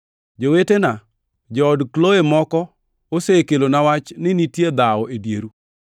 Jowetena, jood Kloe moko osekelona wach ni nitie dhawo e dieru.